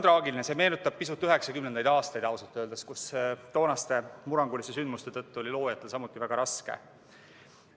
Ausalt öeldes see meenutab pisut 1990. aastaid, kui toonaste murranguliste sündmuste tõttu oli loojatel samuti väga raske.